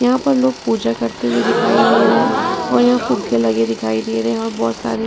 यहाँ पर लोग पूजा करते हुए दिखाई दे रहे हैं और यहाँ लगे दिखाई दे रहे हैं और बहोत सारे--